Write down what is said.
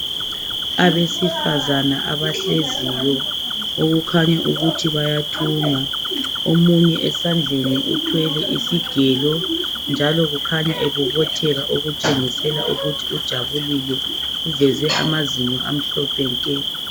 Abesifazana abahleziyo okukhanya ukuthi bayathunga. Omunye esandleni uthwele isigelo njalo ekhanya ebobotheka okutshengisela ukuthi ujabulile uveze amazinyo amhlophe nke.